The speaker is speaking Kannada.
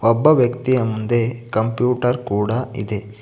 ಒಬ್ಬ ವ್ಯಕ್ತಿಯ ಮುಂದೆ ಕಂಪ್ಯೂಟರ್ ಕೂಡ ಇದೆ.